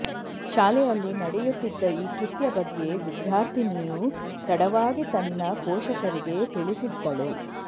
ಶಾಲೆಯಲ್ಲಿ ನಡೆಯುತ್ತಿದ್ದ ಈ ಕೃತ್ಯ ಬಗ್ಗೆ ವಿದ್ಯಾರ್ಥಿನಿಯು ತಡವಾಗಿ ತನ್ನ ಪೋಷಕರಿಗೆ ತಿಳಿಸಿದ್ದಳು